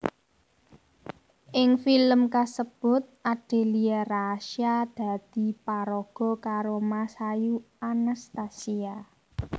Ing filem kasebut Adelia Rasya dadi paraga karo Masayu Anastasia